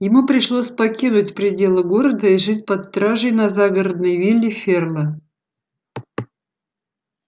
ему пришлось покинуть пределы города и жить под стражей на загородной вилле ферла